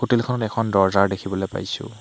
Hotel খনত এখন দৰ্জাৰ দেখিবলে পাইছোঁ।